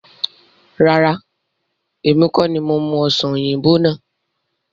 Rárá, èmi kọ́ni mo mú Ọ̀sán oyinbo náà.